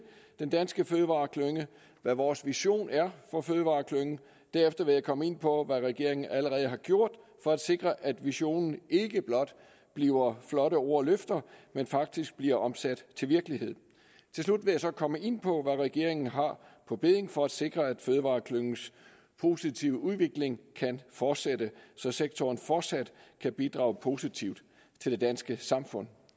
den danske fødevareklynge og hvad vores vision er for fødevareklyngen derefter vil jeg komme ind på hvad regeringen allerede har gjort for at sikre at visionen ikke blot bliver flotte ord og løfter men faktisk bliver omsat til virkelighed til slut vil jeg så komme ind på hvad regeringen har på bedding for at sikre at fødevareklyngens positive udvikling kan fortsætte så sektoren fortsat kan bidrage positivt til det danske samfund